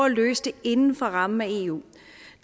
at løse det inden for rammen af eu